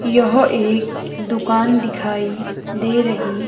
यह एक दुकान दिखाई दे रही--